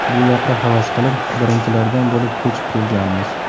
Bu yoqqa havas qilib, birinchilardan bo‘lib ko‘chib kelganmiz.